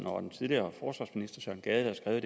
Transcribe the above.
og den tidligere forsvarsminister søren gade der